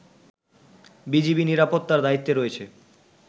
BGB নিরাপত্তার দায়িত্বে রয়েছে